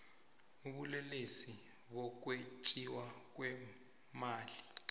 ubulelesi bokwetjiwa kweemali